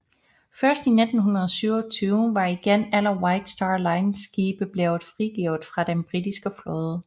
Først i 1927 var igen alle White Star Lines skibe blevet frigivet fra den britiske flåde